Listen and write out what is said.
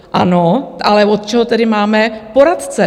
Ano, ale od čeho tedy máme poradce?